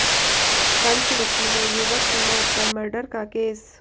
पंचरुखी में युवक की मौत पर मर्डर का केस